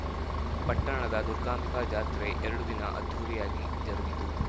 ಪಟ್ಟಣದ ದುರ್ಗಾಂಬಿಕಾ ಜಾತ್ರೆ ಎರಡು ದಿನ ಅದ್ಧೂರಿಯಾಗಿ ಜರುಗಿತು